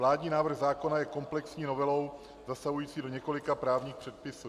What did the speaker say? Vládní návrh zákona je komplexní novelou zasahující do několika právních předpisů.